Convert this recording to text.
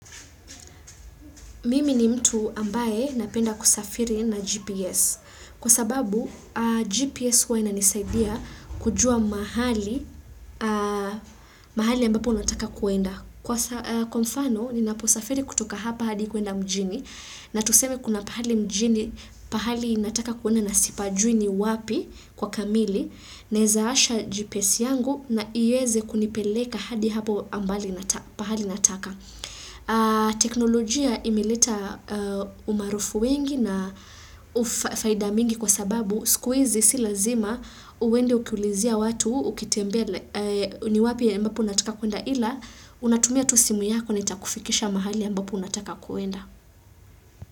Mimi ni mtu ambaye napenda kusafiri na GPS. Kwa sababu, GPS wana nisaidia kujua mahali, mahali ambapo unataka kuenda. Kwa mfano, ninaposafiri kutoka hapa hadi kuenda mjini. Na tusemi kuna pahali mjini, pahali nataka kuenda na sipajui ni wapi kwa kamili. Naezaasha GPS yangu na ize kunipeleka hadi hapo ambali nataka. Teknolojia imeleta umarufu wengi na faida mingi kwa sababu Sikuwezi si lazima uwende ukiulizia watu, ukitembea ni wapi ambapu nataka kuenda ila Unatumia tu simu yako na itakufikisha mahali ya mbapu nataka kuenda.